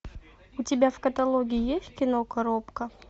у тебя в каталоге есть кино коробка